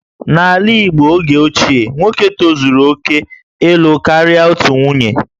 N'ala Igbo oge ochie, nwoke tozuru oke ịlụ karịa otu nwunye